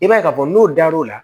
I b'a ye k'a fɔ n'o dar'o la